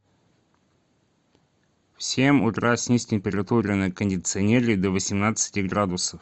в семь утра снизь температуру на кондиционере до восемнадцати градусов